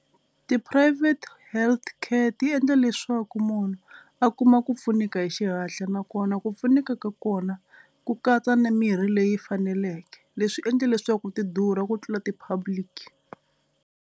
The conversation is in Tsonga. Ti-private healthcare ti endla leswaku munhu a kuma ku pfuneka hi xihatla nakona ku pfuneka ka kona ku katsa ni mirhi leyi faneleke. Leswi endla leswaku ti durha ku tlula ti-public.